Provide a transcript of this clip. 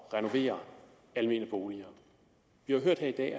renovere almene boliger vi har hørt her i dag